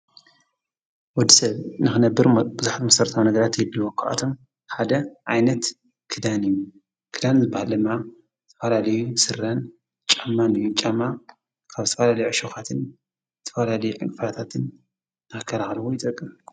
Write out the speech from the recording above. ወዲ ሰብ ንኽነብር ብዙኃት መሠርታዊ ነገዳት የልወ ኣዂዓቶም ሓደ ኣይነት ክዳን እዩ ክዳን ልባ ለማ ትፈላልዩ ሥራን ጫማንእዩ ጫማ ካብ ተፈላሊዕሾኻትን ትፈላልዩ ዕፍራታትን ናከራሃልዎ ይጠቅም።